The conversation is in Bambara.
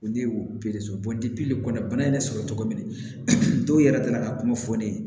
Ne ye o kɔni bana ye ne sɔrɔ cogo min na dɔw yɛrɛ taara ka kuma fɔ ne ye